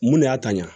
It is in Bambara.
Mun de y'a ta ɲa